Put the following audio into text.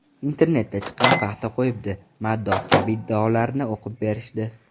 Internetda chiqqan ‘Paxta qo‘yibdi, maddoh’ kabi iddaolarni o‘qib berishdi.